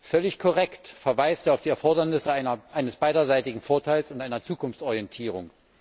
Völlig korrekt verweist er auf die Erfordernisse eines beiderseitigen Vorteils und einer Zukunftsorientierung.